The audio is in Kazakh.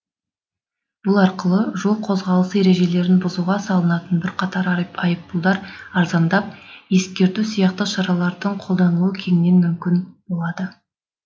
бұл арқылы жол қозғалысы ережелерін бұзуға салынатын бірқатар айыппұлдар арзандап ескерту сияқты шаралардың қолданылуы кеңірек мүмкін болады